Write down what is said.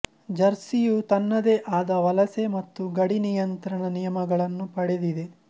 ಜರ್ಸಿಯು ತನ್ನದೇ ಆದ ವಲಸೆ ಮತ್ತು ಗಡಿ ನಿಯಂತ್ರಣ ನಿಯಮಗಳನ್ನು ಪಡೆದಿದೆ